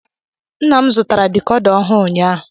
Nna m zụtara dikoda ọhụụ ụnyaahụ.